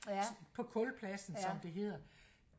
på kulpladsen som det hedder